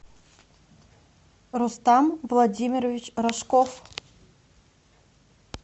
рустам владимирович рожков